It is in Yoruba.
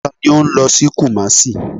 Tani o nlo si Kumasi?